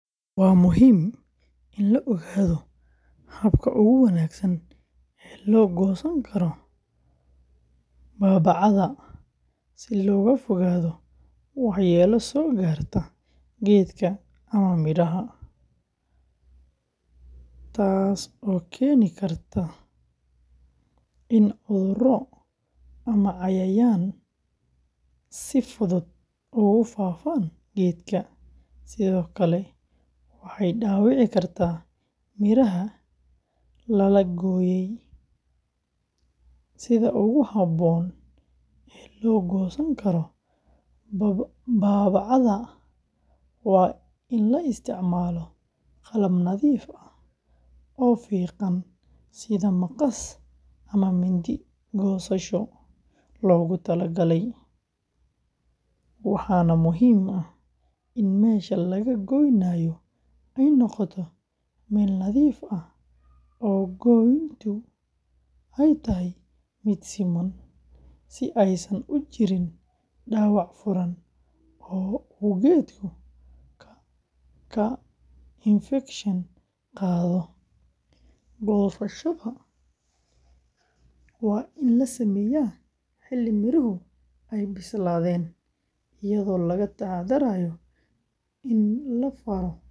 Waa muhiim in la ogaado habka ugu wanaagsan ee loo goosan karo baabacada si looga fogaado waxyeello soo gaarta geedka ama midhaha, waayo goosashada khaldan waxay dhaawici kartaa laanta ama jirridda geedka, taasoo keeni karta in cudurro ama cayayaan si fudud ugu faafaan geedka, sidoo kale waxay dhaawici kartaa miraha la la gooyay. Sida ugu habboon ee loo goosan karo baabacada waa in la isticmaalo qalab nadiif ah oo fiiqan sida maqas ama mindi goosasho, waxaana muhiim ah in meesha laga goynayo ay noqoto meel nadiif ah oo gooyntu ay tahay mid siman, si aysan u jirin dhaawac furan oo uu geedku ka infekshan qaado. Goosashada waa in la sameeyaa xilli miruhu ay bislaadeen, iyadoo laga taxadarayo in la faro midhaha.